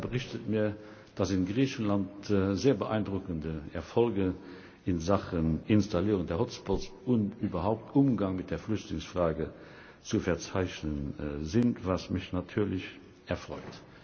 Er berichtet mir, dass in Griechenland sehr beeindruckende Erfolge in Sachen Installierung der Hotspots und überhaupt beim Umgang mit der Flüchtlingsfrage zu verzeichnen sind, was mich natürlich erfreut.